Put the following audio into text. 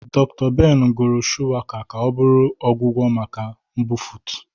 Dr. Ben gụrụ shuwaka ka ọ bụrụ ọgwụgwọ maka mbufụt.